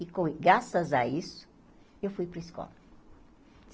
E com, graças a isso, eu fui para a escola.